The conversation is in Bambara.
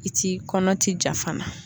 I ti kɔnɔ ti ja fana.